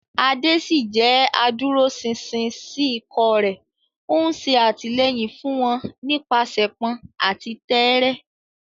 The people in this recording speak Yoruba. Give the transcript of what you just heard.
Ade ṣì jẹ́ adúróṣinṣin sí ikọ̀ rẹ̀, ó ń ṣe àtìlẹ́yìn fún wọn nípasẹ̀pọn àti tẹ́ẹ́rẹ́.